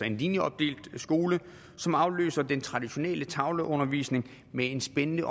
en linjeopdelt skole som afløser den traditionelle tavleundervisning med en spændende